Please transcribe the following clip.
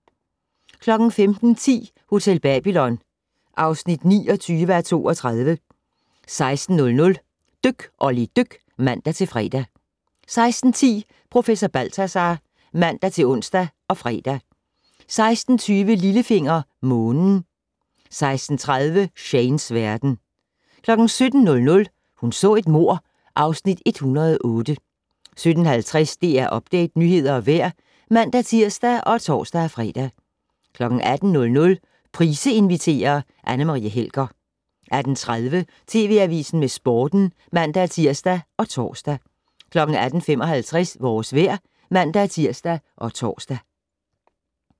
15:10: Hotel Babylon (29:32) 16:00: Dyk Olli dyk (man-fre) 16:10: Professor Balthazar (man-ons og fre) 16:20: Lillefinger - Månen 16:30: Shanes verden 17:00: Hun så et mord (Afs. 108) 17:50: DR Update - nyheder og vejr (man-tir og tor-fre) 18:00: Price inviterer - Anne Marie Helger 18:30: TV Avisen med Sporten (man-tir og tor) 18:55: Vores vejr (man-tir og tor)